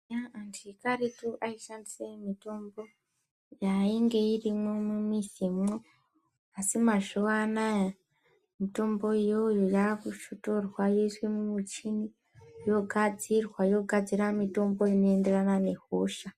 Anthu ekaretu aishandisa mitombo yainge irimwo mumizimwo asi mazuwaanaa mitombo iyoyo yakusvotorwa yoiswa mumuchini yogadzirwa yogadzira mitombo inoenderana nehosha.